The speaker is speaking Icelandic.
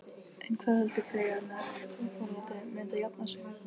En hvað heldur Freyja með folaldið, mun það jafna sig?